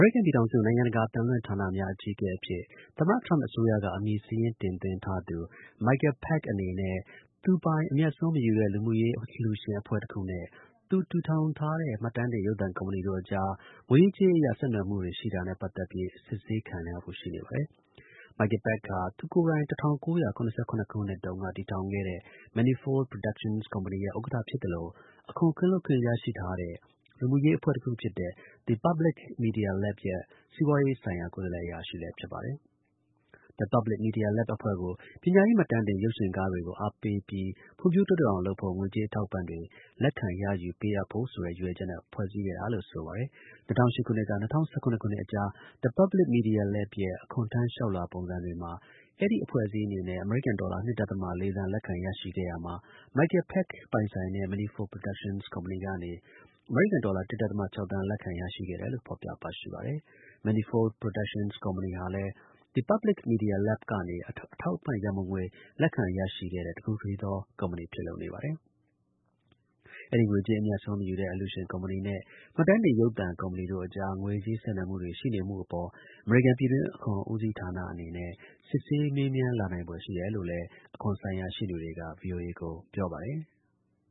ရိကန် ပြည်ထောင်စု နိုင်ငံတကာ အသံလွှင့် ဌာနများ အကြီးအကဲအဖြစ် သမ္မတ ထရမ့် အစိုးရက အမည်စာရင်း တင်သွင်းထားသူ Michael Pack အနေနဲ့ သူ့ပိုင် အမြတ်အစွန်း မယူတဲ့ လူမှုရေးအလှူရှင်အဖွဲ့တစ်ခုနဲ့ သူတည်ထောင်ထားတဲ့ မှတ်တမ်းတင် ရုပ်သံ ကုမ္ပဏီတို့ အကြား ငွေရေးကြေးရေးအရ ဆက်နွယ်မှုတွေနဲ့ ပတ်သက် ပြီး စစ်ဆေးခံရဖို့ ရှိနေပါတယ်။ Michael Pack ဟာ သူကိုယ်တိုင် ၁၉၇၇ခုနှစ်တုန်းက တည်ထောင်ခဲ့တဲ့ Manifold Productions ကုမ္ပဏီရဲ့ ဥက္ကဌ ဖြစ်သလို အခွန် ကင်းလွတ်ခွင့်ရရှိတဲ့ လူမှုရေးအဖွဲ့တစ်ခုဖြစ်တဲ့ The Public Media Lab ရဲ့ စီးပွားရေးဆိုင်ရာ ကိုယ်စားလှယ် အရာရှိလည်း ဖြစ်ပါတယ်။ The Public Media Lab အဖွဲ့ကို ပညာရေး မှတ်တမ်းတင် ရုပ်ရှင်ကားတွေကို အားပေးပြီး ဖွံ့ဖြိုးတိုးတက်အောင်လုပ်ဖို့ ငွေကြေး အထောက်အပံ့တွေ လက်ခံရယူ ပေးအပ်ဖို့ဆိုတဲ့ ရည်ရွယ်ချက်နဲ့ ဖွဲ့စည်းခဲ့တာလို့ ဆိုပါတယ်။ ၂၀၀၈ ခုနှစ်က ၂၀၁၇ ခုနှစ်အကြား The Public Media Lab ရဲ့ အခွန်ထမ်း လျှောက်လွှာ ပုံစံတွေမှာ အဲဒီ အဖွဲ့အစည်းအနေနဲ့ အမေရိကန် ဒေါ်လာ ၂.၄ သန်း လက်ခံ ရရှိခဲ့ရာမှာ Michael Pack ပိုင်တဲ့ Manifold Productions ကုမ္ပဏီကနေ အမေရိကန် ဒေါ်လာ ၁.၆ သန်း လက်ခံ ရရှိခဲ့တယ်လို့ ဖော်ပြပါရှိပါတယ်။ Manifold Productions ကုမ္ပဏီဟာလည်း The Public Media Lab ကနေ အထောက်အပံ့ ရန်ပုံငွေ လက်ခံ ရရှိတဲ့ တစ်ခုတည်းသော ကုမ္ပဏီ ဖြစ်လို့နေပါတယ်။ အဲဒီ ငွေကြေး အမြတ်အစွန်း မယူတဲ့ အလှူရှင် ကုမ္ပဏီနဲ့ မှတ်တမ်းတင် ရုပ်သံ ကုမ္ပဏီတို့အကြား ငွေကြေး ဆက်နွယ်မှုတွေ ရှိနေမှုအပေါ် အမေရိကန် ပြည်တွင်း အခွန်ဦးစီးဌာနနဲ့ စစ်ဆေး မေးမြန်း လာနိုင်ဖွယ်ရှိတယ်လို့လည်း အခွန်ဆိုင်ရာ ရှေ့နေတွေက ဗွီအိုအေကို ပြောပါတယ်။